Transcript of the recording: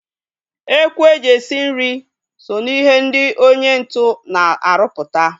Ekwu e ji esi nri so ná ihe ndị onye ntu na aruputa